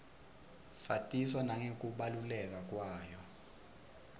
satiswa nangekubaluleka kwayo